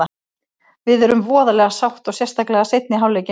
Við erum voðalega sátt og sérstaklega seinni hálfleikinn.